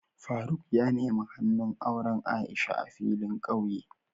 Faruk ya nemi hannu auren Aisha a filin ƙauye.